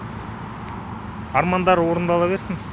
армандар орындала берсін